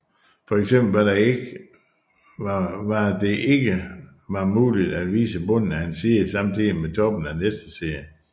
For eksempel var det ikke var muligt at vise bunden af en side samtidigt med toppen af næste side